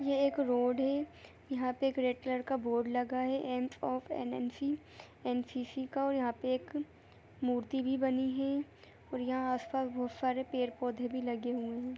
ये एक रोड है यहाँ एक रेड कलर का बोर्ड लगा है एम ऑफ एन_एन_सी एन_सी_सी का और यहाँ पे एक मूर्ति भी बनी है और यहाँ आसपास बहुत सारे पेड़-पौधे भी लगे हुए हैं।